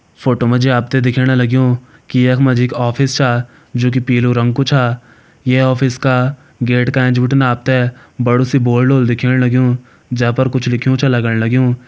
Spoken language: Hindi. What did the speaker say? फोटो मा जी आप थें दिखेण लग्युं की यख मा जी एक ऑफिस छा जु की पीलू रंग कु छा ये ऑफिस का गेट का एंच बिटिन आप तें बड़ु सी बोर्ड होल दिखेण लग्युं जे पर कुछ लिख्युं च लगण लग्युं।